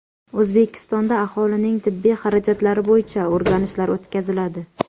O‘zbekistonda aholining tibbiy xarajatlari bo‘yicha o‘rganishlar o‘tkaziladi.